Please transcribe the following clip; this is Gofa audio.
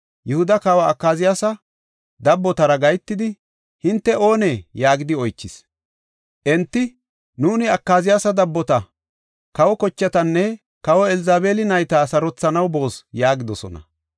Yihuda kawa Akaziyaasa dabbotara gahetidi, “Hinte oonee?” yaagidi oychis. Enti, “Nuuni Akaziyaasa dabbota; kawa kochatanne kawe Elzabeeli nayta sarothanaw boos” yaagidosona.